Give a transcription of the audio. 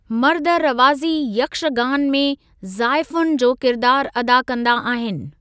मर्द रवाज़ी यक्षगान में ज़ाइफ़ाउनि जो किरदार अदा कंदा आहिनि।